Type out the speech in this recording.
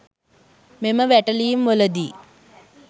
මෙම වැටලීම්වලදී